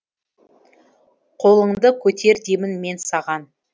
қолыңды көтер деймін мен саған